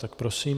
Tak prosím.